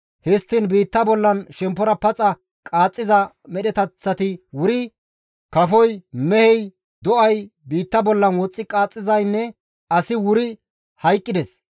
Histtiin biitta bollan shemppora paxa qaaxxiza medheteththati wuri, kafoy, mehey, do7ay, biitta bollan woxxi qaxxizaynne asi wuri hayqqides.